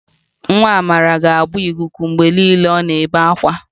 Nwa Amara ga-agba ikuku mgbe niile mgbe ọ na-ebe ákwá